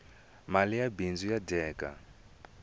mali ya bindzu ya dyeka